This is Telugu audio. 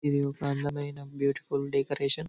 ఇది ఒక అందమైన బ్యూటిఫుల్ డెకరేషన్ .